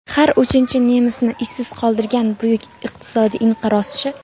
Har uchinchi nemisni ishsiz qoldirgan buyuk iqtisodiy inqiroz-chi ?